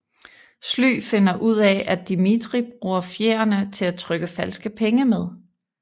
Sly finder ud af at Dimitri bruger fjerene til at trykke falske penge med